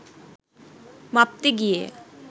মাপতে গিয়ে